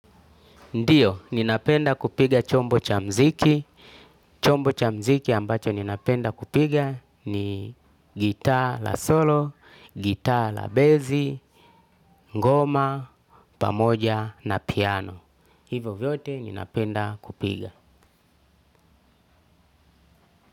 Ndio ninapenda kupiga chombo cha muziki. Chombo cha mziki ambacho ninapenda kupiga ni gitaa la solo, gitaa la bezi, ngoma, pamoja na piano. Hivo vyote ninapenda kupiga.